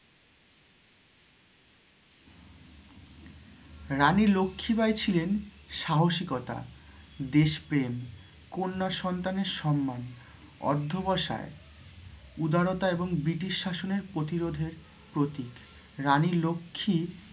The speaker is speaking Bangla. রানী লক্ষি বাই ছিলেন সাহসিকতা, দেশ প্রেম, কন্যা সন্তানের সম্মান, অর্ধ বসায় উদরতা এবং British শাসনের প্রতিরোধের প্রতীক রানী লক্ষি